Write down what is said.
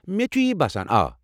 مےٚ تہِ چھُ تی باسان، آ۔